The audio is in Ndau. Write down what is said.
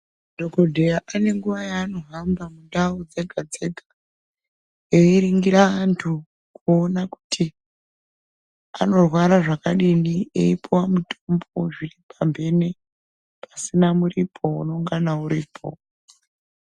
Dhokodheya ane nguwa yaanohamba mundau dzega dzega eriningira antu kuona kuti anorwara zvakadini pasina muripo unonga uripo.